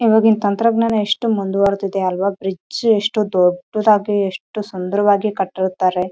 ಇವಾಗ ಇಲ್ಲಿ ತಂತ್ರಜ್ಙಾನ ಎಷ್ಟು ಮುಂದುವರಿದಿದೆ ಅಲ್ವಾ ಬ್ರಿಡ್ಜ್‌ ಎಷ್ಟು ದೊಡ್ಡದಾಗಿ ಎಷ್ಟು ಸುಂದರವಾಗಿ ಕಟ್ಟಿರುತ್ತಾರೆ.